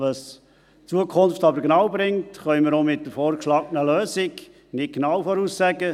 Was die Zukunft aber genau bringt, können wir auch mit der vorgeschlagenen Lösung nicht genau voraussagen;